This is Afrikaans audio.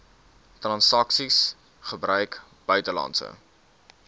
transaksies gebruik buitelandse